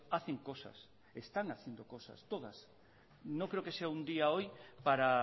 hacen cosas están haciendo cosas todas no creo que sea un día hoy para